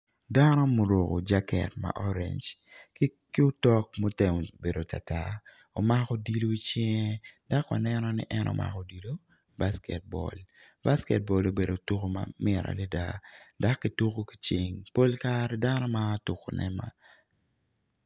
Dano ma oruko jaket ma orange ki otok ma otemo bedo tartar omako odilo icinge dok waneno ni en omako odilo basket ball basket ball obedo tuko mamit adada dok kituko ki cing pol kare dano maro tukone.